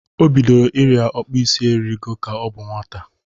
O bidoro ịrịa ọkpụisi eriego ka ọ bụ nwata.